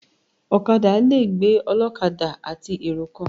Ọ̀kadà le gbé ọlọ́kadà àti èrò kan.